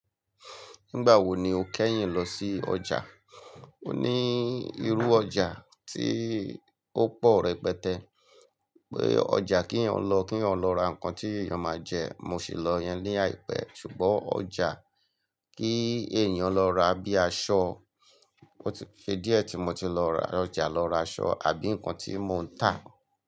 Nígbà wo ni o kẹ́yìn lọ sí ọjà? O ní irú ọjà tí ó pọ̀ rẹpẹtẹ. Pé ọjà kí ẹ̀eyan lọ, kí ẹ̀eyan lọ ra nǹkan tí ẹ̀eyan máa jẹ, mo sì lọ iyẹn ni àìpẹ́. Ṣùgbọ́n ọjà kí èèyàn lọ ra bíi aṣọ, ó ti se diẹ́ tí mo ti lọ ra ọjà lọ ra aṣọ àbí nǹkan tí mò ń tà.